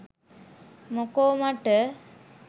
මොකෝ මට.